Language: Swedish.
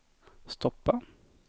stoppa